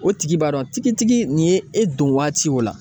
O tigi b'a dɔn tigitigi nin ye e don waati o la